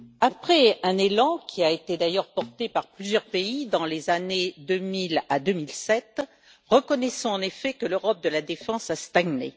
Après un élan, qui a été d'ailleurs porté par plusieurs pays dans les années 2000 à 2007, reconnaissons en effet que l'Europe de la défense a stagné.